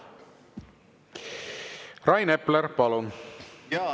Rain Epler, palun!